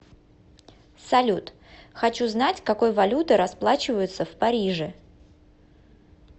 салют хочу знать какой валютой расплачиваются в париже